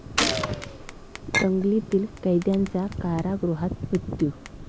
दंगलीतील कैद्याचा कारागृहात मृत्यू